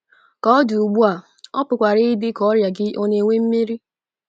Ka ọ dị ugbu a, ọ pụkwara ịdị ka ọrịa gị ọ na - enwe mmeri.